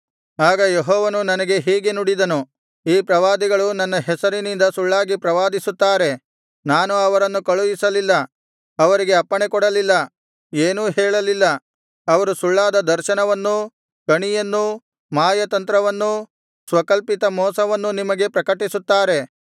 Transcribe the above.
ಆಗ ಯೆಹೋವನು ನನಗೆ ಹೀಗೆ ನುಡಿದನು ಈ ಪ್ರವಾದಿಗಳು ನನ್ನ ಹೆಸರಿನಿಂದ ಸುಳ್ಳಾಗಿ ಪ್ರವಾದಿಸುತ್ತಾರೆ ನಾನು ಅವರನ್ನು ಕಳುಹಿಸಲಿಲ್ಲ ಅವರಿಗೆ ಅಪ್ಪಣೆಕೊಡಲಿಲ್ಲ ಏನೂ ಹೇಳಲಿಲ್ಲ ಅವರು ಸುಳ್ಳಾದ ದರ್ಶನವನ್ನೂ ಕಣಿಯನ್ನೂ ಮಾಯಾತಂತ್ರವನ್ನೂ ಸ್ವಕಲ್ಪಿತ ಮೋಸವನ್ನೂ ನಿಮಗೆ ಪ್ರಕಟಿಸುತ್ತಾರೆ